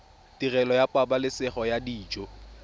tirelo ya pabalesego ya dijo